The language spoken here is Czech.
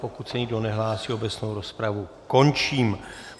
Pokud se nikdo nehlásí, obecnou rozpravu končím.